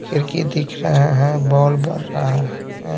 खिड़की दिख रहा है बॉल बर रहा है।